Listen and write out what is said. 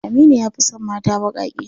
Aminu ya fi son mata baƙaƙe.